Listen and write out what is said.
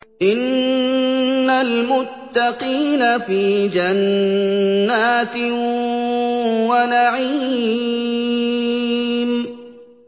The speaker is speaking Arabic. إِنَّ الْمُتَّقِينَ فِي جَنَّاتٍ وَنَعِيمٍ